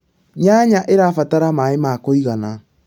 nyanya irabatara maĩ ma kũigana